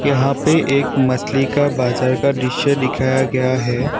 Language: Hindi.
यहां पे एक मछली का बाजार का दिश्य दिखाया गया है।